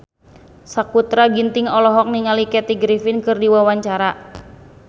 Sakutra Ginting olohok ningali Kathy Griffin keur diwawancara